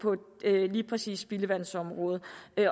lige præcis spildevandsområdet